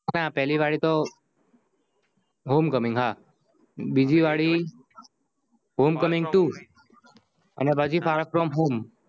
ના પહલી વાડી તો home coming હા બીજી વાડી two અને પછી far from home